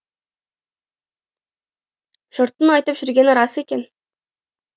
жұрттың айтып жүргені рас екен